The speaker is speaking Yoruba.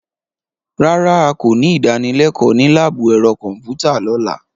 Rárá,a kò ní ìdánilẹ́kọ̀ọ́ ní láàbù ẹ̀rọ kọ̀m̀pútà lọ́la.